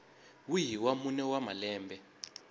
wihi wa mune wa malembe